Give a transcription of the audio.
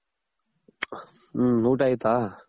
ಹ್ಮ್ಊಟ ಆಯ್ತಾ